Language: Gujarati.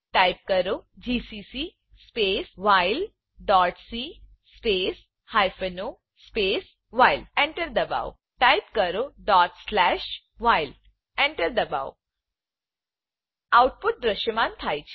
ટાઈપ કરો GCC space while dot c space hyphen o space while Enter એન્ટરદબાવો ટાઈપ કરો while Enterએન્ટર દબાવો આઉટપુટ દ્રશ્યમાન થાય છે